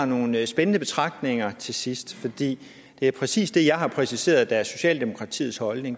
nogle spændende betragtninger til sidst for det er præcis det jeg har præciseret er socialdemokratiets holdning